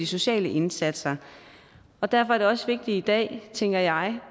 sociale indsatser og derfor er det også vigtigt i dag tænker jeg